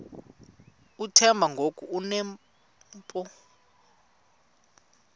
uthemba ngoku enompu